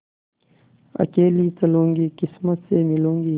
अकेली चलूँगी किस्मत से मिलूँगी